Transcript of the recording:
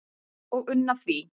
og unna því